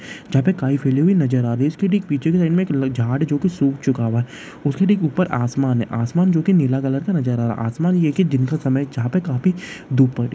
जहाँ पर काई फैली हुई नजर आ रही है| इसके ठीक पीछे की साइड पर एक झाड़ है जो की सूख चूका हुआ है| उसके ठीक ऊपर आसमान है आसमान जो के नीला कलर का नजर आ रहा आसमान जो है की दिन का समय है जहाँ पे काफी धुप है।